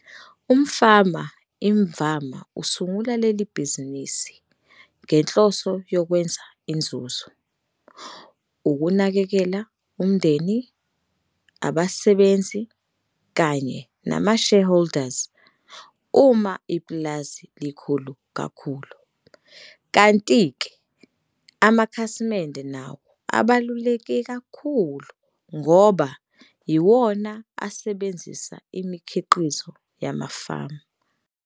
Umfama imvama usungula leli bhizinisi ngenhloso yokwenza inzuzo, ukunakekela umndeni, abasebenzi kanye namashareholders uma ipulazi lilikhulu kakhulu. Kanti-ke amakhasimende nawo abaluleke kakhulu ngoba yiwona asebenzisa imikhiqizo yamafama.